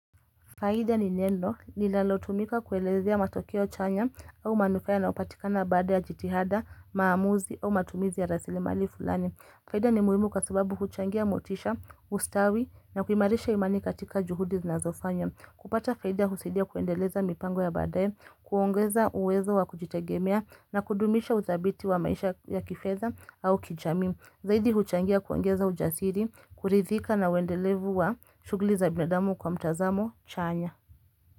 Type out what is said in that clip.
Faida ni neno nilalotumika kuelezi ya matokeo chanya au manufaya na upatikana bada ya jitihada, maamuzi au matumizi ya rasili mali fulani. Faida ni muimu kwasubabu kuchangia motisha, ustawi na kuimarisha imani katika juhudi zinazofanya. Kupata faida husaidia kuendeleza mipango ya badaye, kuongeza uwezo wa kujitegemea na kudumisha udhabiti wa maisha ya kifedha au kijami. Zaidi huchangia kuongeza ujasiri, kurithika na wendelevu wa shuguli za binadamu kwa mtazamo chanya.